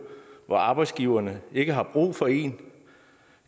hvor arbejdsgiverne ikke har brug for en